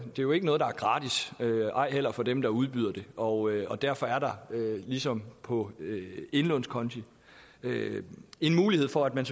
jo ikke noget der er gratis ej heller for dem der udbyder de og derfor er der ligesom på indlånskonti en mulighed for at man